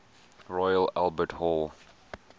royal albert hall